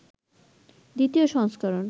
২য় সংস্করণ